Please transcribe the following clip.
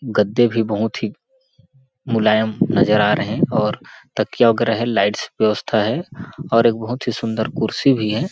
गद्दे भी बहुत ही मुलायम नजर आ रहे हैं और तकिया वगैरह है लाइट व्यवस्था है और एक बहुत ही सुंदर कुर्सी भी है।